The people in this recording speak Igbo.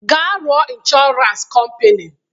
Gaa rụọ ịnshọransị kọmpini!